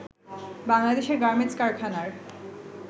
বাংলাদেশের গার্মেন্টস কারখানার